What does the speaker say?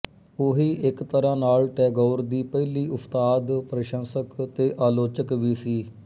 ਉਹੀ ਇੱਕ ਤਰ੍ਹਾਂ ਨਾਲ ਟੈਗੋਰ ਦੀ ਪਹਿਲੀ ਉਸਤਾਦ ਪ੍ਰਸੰਸਕ ਤੇ ਆਲੋਚਕ ਵੀ ਸੀ